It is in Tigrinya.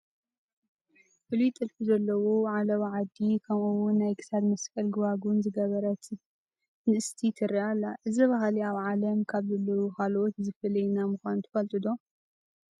ፍሉይ ጥልፊ ዘለዎ ዓለባ ዓዲ ከምኡውን ናይ ክሳድ መስቀልን ጐባጉብን ዝገበረን ንእሽቲ ትርአ ኣላ፡፡ እዚ ባህሊ ኣብ ዓለም ካብ ዘለዉ ካልኦት ዝፈልየና ምዃኑ ትፈልጡ ዶ?